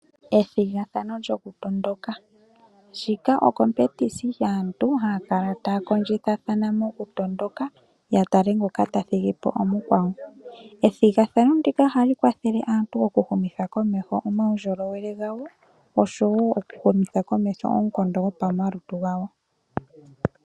Ethigathano lyoku tondoka. Ndika ethigathano lyaantu haya kala taya kondjithathana moku tondoka ya tale ngoka ta thigipo omukwawo. Ethigathano ndika ohali kwathele aantu oku humitha komeho omawundjilowele gawo. Oshowo oku humitha komeho oonkondo dhopamalutu gawo.